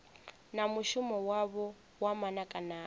na mushumo wavho wa manakanaka